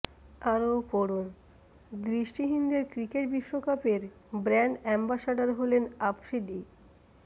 আরও পড়ুন দৃষ্টিহীনদের ক্রিকেট বিশ্বকাপের ব্র্যান্ড অ্যম্বাসাডর হলেন আফ্রিদি